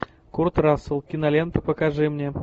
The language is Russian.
курт рассел кинолента покажи мне